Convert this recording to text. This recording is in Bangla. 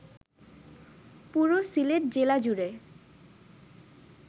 পুরো সিলেট জেলাজুড়ে